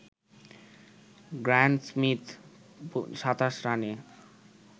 Graeme Smith ২৭ রানে